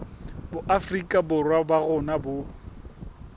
boafrika borwa ba rona bo